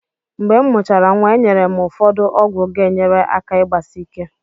Mgbe m mụchara nwa, enyere m ụfọdụ ọgwụ ga-enyere aka igbasike.